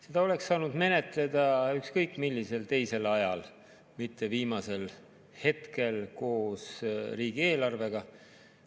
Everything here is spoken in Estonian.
Seda oleks saanud menetleda ükskõik millisel teisel ajal, mitte viimasel hetkel koos riigieelarvega.